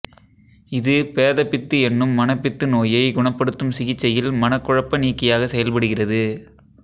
இது பேதபித்து என்னும் மனப்பித்து நோயை குணப்படுத்தும் சிகிச்சையில் மனக்குழப்ப நீக்கியாகச் செயல்படுகிறது